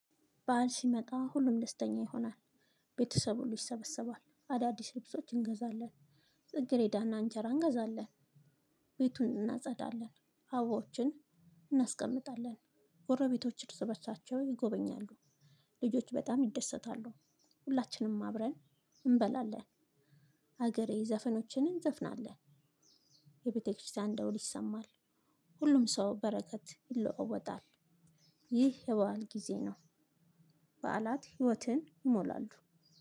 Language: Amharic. ባል ሲመጣ ሁሉም ደስተኛ ይሆናል። ቤተሰብ ሁሉ ይሰበሰባል አዳዲስ ልብሶች እንገዛለን ጽግሬዳና እንጀራ እንገዛለን። ቤቱን እናጸዳለን ሀበባዎችን እናስቀምጣለን። ጎረቤቶች እርስ በሳቸው ይጎበኛሉ። ልጆች በጣም ይደሰታሉ። ሁላችንም አብረን እንበላለን። ሀገሬ ዘፈኖችን እንዘፍናለን። የቤተክርስቲያን ደውል ይሰማል። ሁሉም ሰው በረከት ይለዋወጣል። ይህ የበአል ጊዜ ነው። በዓላት ህይወትን ይሞላሉ።